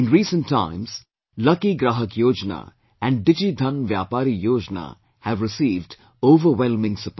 In recent times, Lucky Graahak Yojana and DigiDhan Vyapari Yojana have received overwhelming support